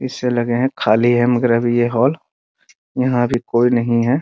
इससे लगे हैं खाली है मगर अब ये हॉल यहाँ भी कोई नहीं है ।